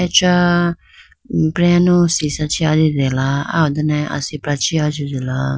Acha breyanu sisha chee ajitela aya ho done asipra chee ajitela.